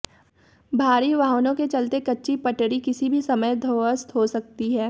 भारी वाहनों के चलते कच्ची पटड़ी किसी भी समय ध्वस्त हो सकती है